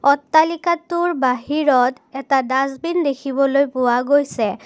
অট্টালিকাটোৰ বাহিৰত এটা ডাষ্টবিন দেখিবলৈ পোৱা গৈছে।